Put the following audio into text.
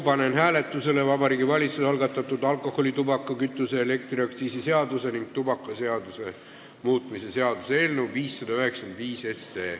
Panen hääletusele Vabariigi Valitsuse algatatud alkoholi-, tubaka-, kütuse- ja elektriaktsiisi seaduse ning tubakaseaduse muutmise seaduse eelnõu 595.